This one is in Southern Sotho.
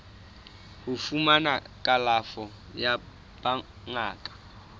ho fumana kalafo ya bongaka